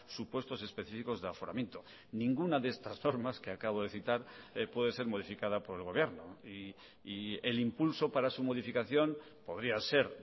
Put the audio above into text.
supuestos específicos de aforamiento ninguna de estas normas que acabo de citar puede ser modificada por el gobierno y el impulso para su modificación podría ser